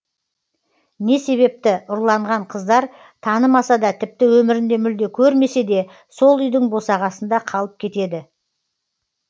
не себепті ұрланған қыздар танымаса да тіпті өмірінде мүлде көрмесе де сол үйдің босағасында қалып кетеді